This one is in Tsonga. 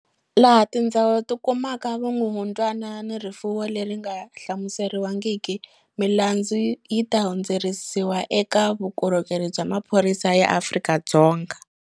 Laha tindzawulo ti kumaka vumumundwani ni rifuwo leri nga hlamuseriwangiki, milandzu yi ta hundziseriwa eka Vukorhokeri bya Maphorisa ya Afrika-Dzonga.